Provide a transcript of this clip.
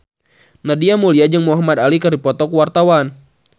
Nadia Mulya jeung Muhamad Ali keur dipoto ku wartawan